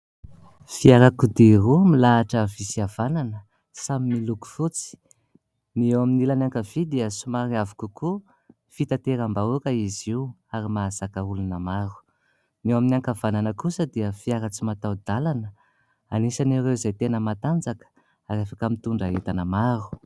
Fiarakodia roa milahatra avia sy avanana, samy miloko fotsy. Ny eo amin'ilany ankavia dia somary avo kokoa, fitaterambahoaka izy io ary mahazaka olona maro, ny eo amin'ny ankavanana kosa dia fiara tsy matahodalana, anisan'ireo izay tena matanjaka ary afaka mitondra entana maro.